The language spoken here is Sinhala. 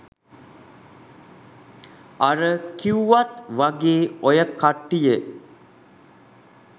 අර කිව්වත් වගේ ඔය කට්ටිය